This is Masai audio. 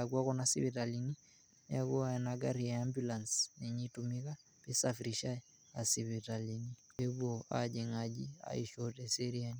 adolu enkoitoi peuni irkeek naa peitobirr naa [cs[ environment entoki ake iye ena nagira aman ninche oltungani ashu weji nemanya ninye oltungani peaku sidai.